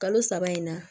Kalo saba in na